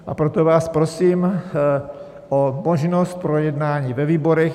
A proto vás prosím o možnost projednání ve výborech.